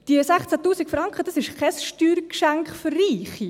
Diese 16’000 Franken, das ist kein Steuergeschenk für Reiche.